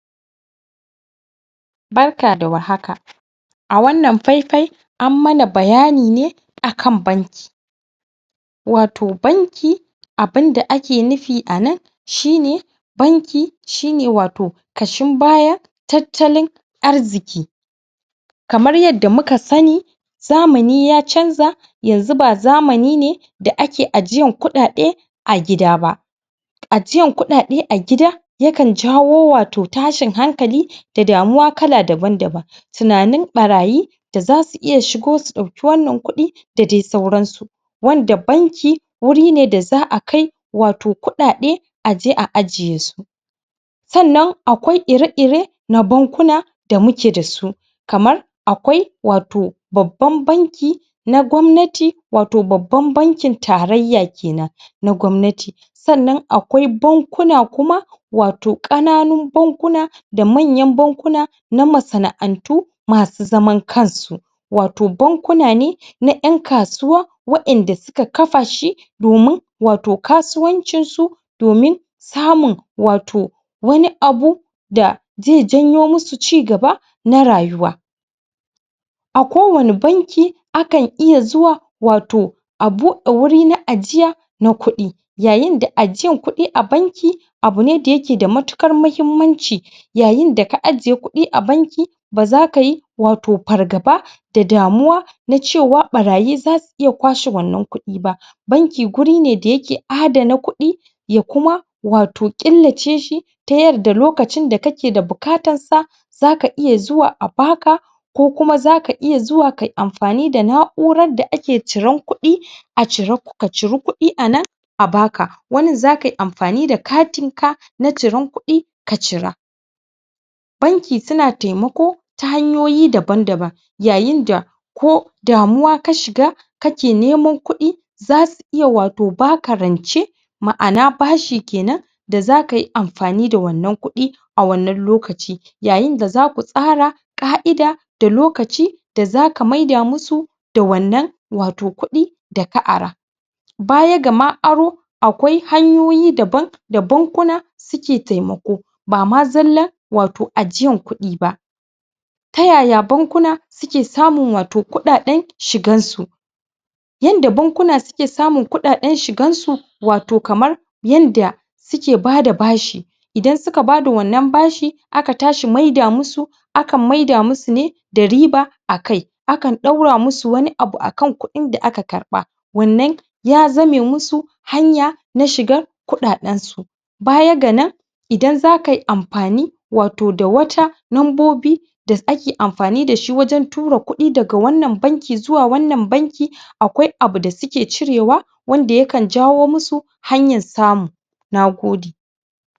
Barka da warhaka a wannan faifai an mana bayani ne akan banki wato banki abinda ake nufi a nan shine banki shine wato ƙashin baya tattalin arziki kamar yanda muka sani zamani ya canza yanzu ba zamani ne da ake ajiyan kuɗaɗe a gida ba ajiyan kuɗaɗe a gida yakan jawo wato tashin hankali da damuwa kala daban-daban tunanin ɓarayi da za su iya shigo su ɗauki wannan kuɗi da dai sauransu wanda banki warine da za a kai wato kuɗaɗe a je a ajesu sannan akwai ire-ire na bankuna da muke da su kamar akwai wato babban banki na gwamnati wato baban bankin tarayya kenan na gwamnati sannan akwai bankuna kuma wato ƙananun bankuna da manyan bankuna na masana'antu masu zaman kansu wato bankuna ne na ƴan kasuwa wa'inda suka kafashi domin wato kasuwancinsu domin samun wato wani abu da zai janyo musu cigaba na rayuwa a kowani banki akan iya zuwa wato a buɗe wuri na ajiya na kuɗi yayinda ajiyan kuɗi a banki abune da yake da matuƙar mahimmanci yayinda ka ajiye kuɗi a banki ba zaka yi wato fargaba da damuwa na cewa ɓarayi iya kwashe wannan kuɗi ba banki guri ne da yake adana kuɗi ya kuma wato ƙillaceshi ta yanda lokacin da kake da bukatansa zaka iya zuwa a baka ko kuma zaka iya zuwa ka yi amfani da na'uara da ake ciran kuɗi a cira ka ciri kuɗi a nan a baka wanin zaka yi amfani da katinka na ciran kuɗi ka cira banki suna taimako ta hanyoyi daban-daban yayinda ko damuwa ka shiga kake neman kuɗi zasu iya wato baka rance ma'ana bashi kenan da zaka yi amfani da wannan kuɗi a wannan lokaci yayinda za ku tsara ƙa'ida da lokaci da zaka maida musu da wannan wato kuɗi da ka ara baya ga ma aro akwai hanyoyi daban da bankuna suke taimako ba ma zallan wato ajiyan kuɗi ba ta yaya bankuna suke samun wato kuɗaɗen shigansu yanda bankuna suke samun kuɗaɗen shigansu wato kamar yanda suke bada bashi idan suka bada wannan bashi aka tashi maida musu akan maida musu ne da riba a kai akan ɗaura musu wani abu akan kuɗin da aka karɓa wannan ya zame musu hanya na shigan kuɗaɗensu baya ga nan idan zaka yi amfani wato da wata nambobi da ake amfani da shi wajen tura kuɗi daga wannan banki zuwa wannan banki akwai abu da suke cirewa wanda yakan jawo musu hanyan samu na gode.